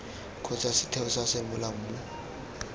kgotsa setheo sa semolao mo